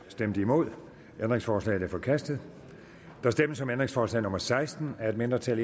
stemte nul ændringsforslaget er forkastet der stemmes om ændringsforslag nummer seksten af et mindretal